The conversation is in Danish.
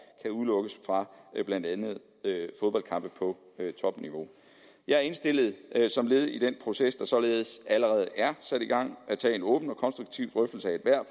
kan udelukkes fra blandt andet fodboldkampe på topniveau jeg indstillede som led i den proces der således allerede er sat i gang at tage en åben og konstruktiv drøftelse af ethvert